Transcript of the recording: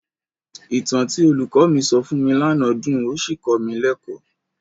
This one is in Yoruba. Ìtàn tí olùkọ́ mi sọ fún mi lánàá dùn ó sì kọ́ mi lẹ́kọ̀ọ́.